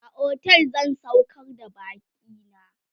a otel zan saukar da bakina